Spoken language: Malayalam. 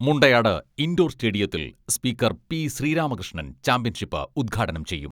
മുണ്ടയാട് ഇൻഡോർ സ്റ്റേഡിയത്തിൽ സ്പീക്കർ പി.ശ്രീരാമകൃഷ്ണൻ ചാമ്പ്യൻഷിപ്പ് ഉദ്ഘാടനം ചെയ്യും.